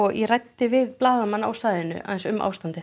ég ræddi við blaðamann á svæðinu um ástandið